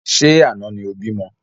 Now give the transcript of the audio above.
Ṣé àna ni o bímọ?